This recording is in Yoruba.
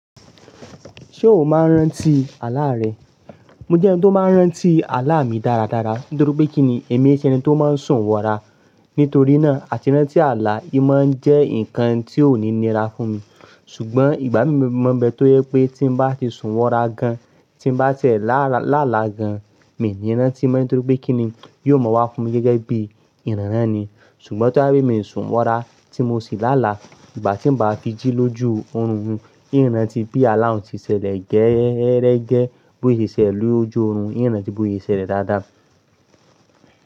Ṣé o máa ń rántí àlá rẹ? Mo jẹ́ ẹni tó máa ń rántí àlá mi dáradára, nítorí pé kí ni, èmi i ṣe ẹni tó máa ń sùn wọra, nítorí náà àti rántí àlá i máa ń jẹ́ nǹkan tí ó ní nira fún mi. Ṣùgbọ́n ìgbà mí mọ̀ ma n be, tó yẹ pé tí mo bá ti sùn wọra gan, tí mo bá ti ẹ̀ lála gan, mi i ní rántí mọ́, nítorí pé kí ni, yóò mọ̀ wá fún mi gẹ́gẹ́ bí ìrànrán ni. Ṣùgbọ́n tó bá je pe mi sùn wọra, tí mo si lála, ìgbà tí mo bá fi jí lójú oorun, ìi rántí bí àlá un ṣe ṣẹlẹ̀ gẹ́erẹ́egẹ́, bó ṣe ṣẹlẹ̀ lójú oorun, ìi rántí bó ṣe ṣẹlẹ̀ dáadáa.